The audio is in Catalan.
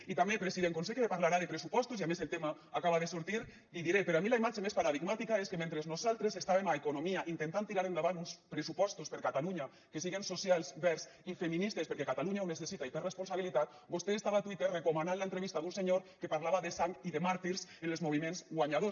i també president com que sé que parlarà de pressupostos i a més el tema acaba de sortir li diré per a mi la imatge més paradigmàtica és que mentre nosaltres estàvem a economia intentant tirar endavant uns pressupostos per a catalunya que siguen socials verds i feministes perquè catalunya ho necessita i per responsabilitat vostè estava a twitter recomanant l’entrevista d’un senyor que parlava de sang i de màrtirs en els moviments guanyadors